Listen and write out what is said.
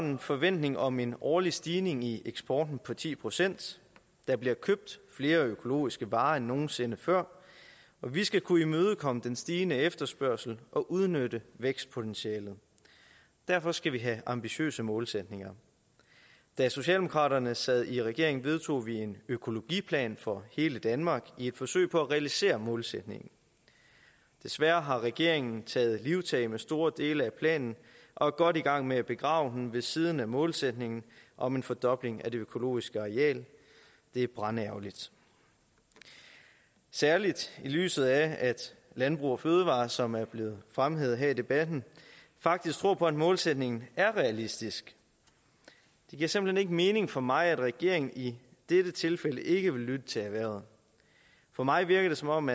en forventning om en årlig stigning i eksporten på ti procent der bliver købt flere økologiske varer end nogen sinde før og vi skal kunne imødekomme den stigende efterspørgsel og udnytte vækstpotentialet derfor skal vi have ambitiøse målsætninger da socialdemokraterne sad i regering vedtog vi en økologiplan for hele danmark i et forsøg på at realisere målsætningen desværre har regeringen taget livtag med store dele af planen og er godt i gang med at begrave den ved siden af målsætningen om en fordobling af det økologiske areal det er brandærgerligt særlig i lyset af at landbrug fødevarer som er blevet fremhævet her i debatten faktisk tror på at målsætningen er realistisk det giver simpelt hen ikke mening for mig at regeringen i dette tilfælde ikke vil lytte til erhvervet for mig virker det som om